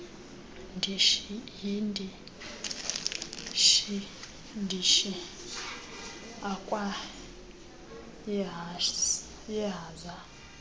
yindishi ndishi akwaaehaza